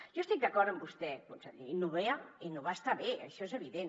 jo estic d’acord amb vostè conseller innovar estar bé això és evident